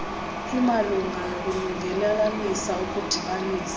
imalunga nokulungelelanisa ukudibanisa